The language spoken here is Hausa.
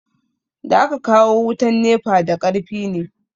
Da aka kawo wutan nefa da karfi ne